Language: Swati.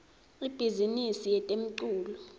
ibhizimisi yetemculo